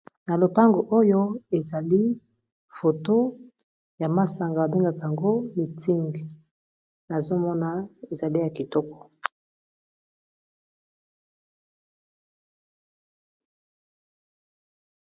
Na lopango oyo ezali foto ya masanga ba bengaka yango miting nazomona ezali ya kitoko.